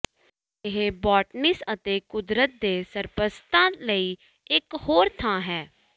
ਇਹ ਬੌਟੈਨਿਸ ਅਤੇ ਕੁਦਰਤ ਦੇ ਸਰਪ੍ਰਸਤਾਂ ਲਈ ਇਕ ਹੋਰ ਥਾਂ ਹੈ